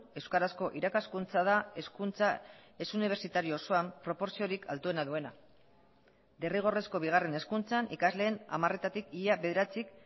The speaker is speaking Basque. euskarazko irakaskuntza da hezkuntza ez unibertsitario osoan proportziorik altuena duena derrigorrezko bigarren hezkuntzan ikasleen hamaretatik ia bederatzik